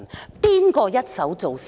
這是誰一手造成的？